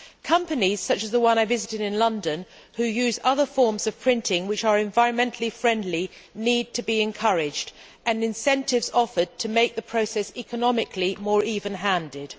Companies such as the one I visited in London that use other forms of printing which are environmentally friendly need to be encouraged and incentives offered to make the process economically more even handed.